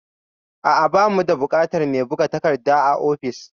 A'a, ba mu da buƙatar mai buga takarda a ofis